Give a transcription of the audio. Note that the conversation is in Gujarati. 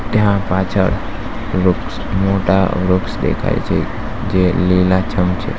ત્યાં પાછળ વૃક્ષ મોટા વૃક્ષ દેખાય છે જે લીલાછમ છે.